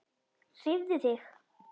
Hreyfðu þig.